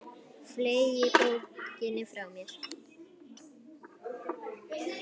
Fleygi bókinni frá mér.